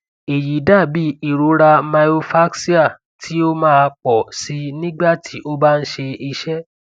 eyi dabi irora myofascial ti o maa pọ sii nigba ti o ba n ṣe iṣe